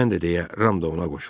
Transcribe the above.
Mən də, deyə Ram da ona qoşuldu.